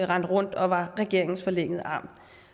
rendte rundt og var regeringens forlængede arm